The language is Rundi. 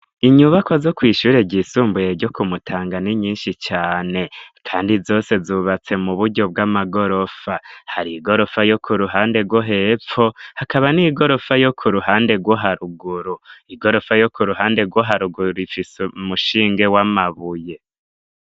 Inyubakwa zo kw'ishure ryisumbuye ryo ku Mutanga, ni nyinshi cane kandi zose zubatse mu buryo bw'amagorofa, hari igorofa yo k'uruhande rwo hepfo, hakaba n'igorofa yo k'uruhande rwo haruguru, igorofa yo k'uruhande guharuguru ifise umushinge w'amabuye.